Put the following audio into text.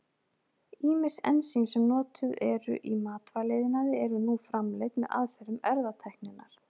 Ýmis ensím sem notuð eru í matvælaiðnaði eru nú framleidd með aðferðum erfðatækninnar.